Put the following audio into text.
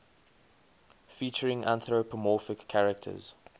featuring anthropomorphic characters